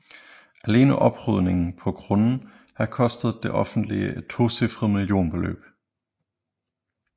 Alene oprydningen på grunden har kostet det offentlige et tocifret millionbeløb